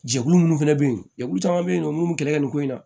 Jɛkulu minnu fana bɛ yen jɛkulu caman bɛ yen nɔ mun bɛ kɛlɛ kɛ nin ko in na